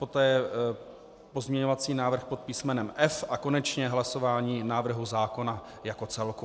Poté pozměňovací návrh pod písmenem F a konečně hlasování návrhu zákona jako celku.